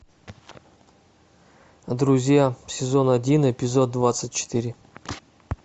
друзья сезон один эпизод двадцать четыре